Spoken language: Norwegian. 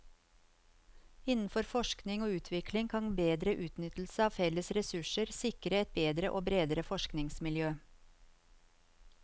Innenfor forskning og utvikling kan bedre utnyttelse av felles ressurser sikre et bedre og bredere forskningsmiljø.